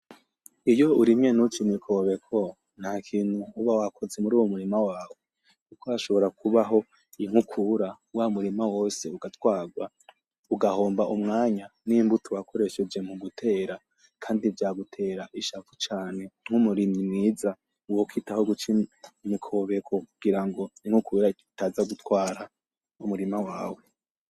Iyo urimye ntuce imikobeko ntakintu uba wakoze muruwo murima wawe, kuko hashobora kubaho inkukura wamurima wose ugatwarwa ugahomba umwanya n'imbuto wakoresheje mugutera kandi vyagutera ishavu cane nkumurimyi mwiza uba ufise aho guca imikobeko kugira inkukura itaza gutwara umurima wawe.